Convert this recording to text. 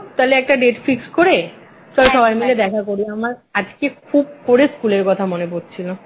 তাহলে একটা date fixed করে চল সবাই মিলে দেখা করি আমার আজকে খুব করে স্কুলের কথা মনে পড়ছিল